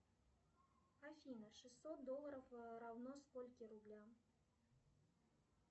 афина шестьсот долларов равно скольким рублям